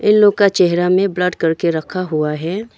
लोग का चेहरा में ब्लर करके रखा हुआ है।